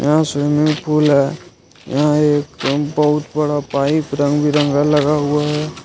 यहां swimming pool बहुत बड़ा पाइप रंग बिरंगा लगा हुआ है।